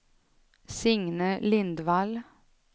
Signe Lindvall